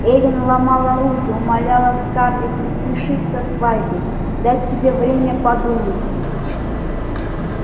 эллин ломала руки умоляла скарлетт не спешить со свадьбой дать себе время подумать